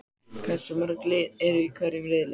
Hversu mörg lið eru í hverjum riðli?